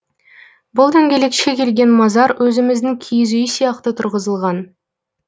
бұл дөнкелекше келген мазар өзіміздің киіз үй сияқты тұрғызылған